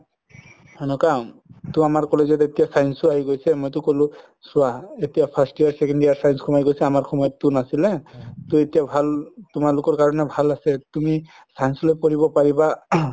ট আমাৰ college ত এতিয়া science ও আহি গৈছে মইতো কলো চোৱা এতিয়া first year second year science সুমাই গৈছে আমাৰ সময়তো নাছিলে ট এতিয়া ভাল তোমালোকৰ কাৰণেও ভাল আছে তুমি science লৈ পঢ়িব পাৰিবা